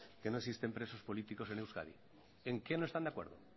que no existen presos políticos en euskadi en qué no están de acuerdo